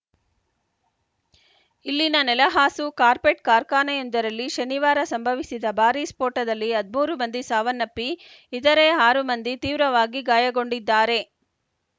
ಇಲ್ಲಿನ ನೆಲಹಾಸು ಕಾರ್ಪೆಟ್‌ ಕಾರ್ಖಾನೆಯೊಂದರಲ್ಲಿ ಶನಿವಾರ ಸಂಭವಿಸಿದ ಭಾರೀ ಸ್ಫೋಟದಲ್ಲಿ ಹದಿಮೂರು ಮಂದಿ ಸಾವನ್ನಪ್ಪಿ ಇತರೆ ಆರು ಮಂದಿ ತೀವ್ರವಾಗಿ ಗಾಯಗೊಂಡಿದ್ದಾರೆ